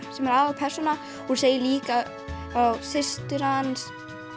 sem er aðalpersónan hún segir líka frá systur hans